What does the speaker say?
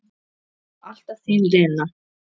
Alltaf þín Lena.